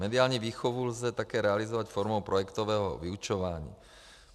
Mediální výchovu lze také realizovat formou projektového vyučování.